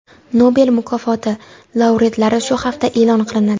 Nobel mukofoti laureatlari shu hafta e’lon qilinadi.